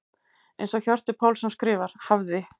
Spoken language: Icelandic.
Eins og Hjörtur Pálsson skrifar: Hafði.